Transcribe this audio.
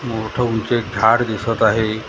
मोठ ऊंच एक झाड दिसत आहे .